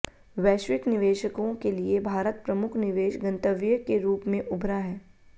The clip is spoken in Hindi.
वैश्विक निवेशकों के लिए भारत प्रमुख निवेश गंतव्य के रूप में उभरा है